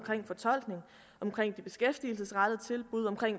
de beskæftigelsesrettede tilbud om